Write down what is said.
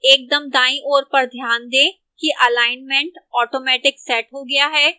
एक दम दाईं ओर पर ध्यान दें कि alignment automatic set हो गया है